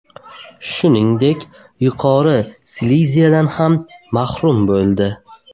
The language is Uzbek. Shuningdek, Yuqori Sileziyadan ham mahrum bo‘ldi.